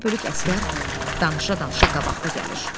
Bir bölük əsgər danışa-danışa qabaqda gəlir.